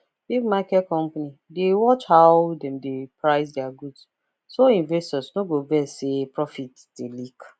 big market company dey watch how dem dey price their goods so investors no go vex say profit dey leak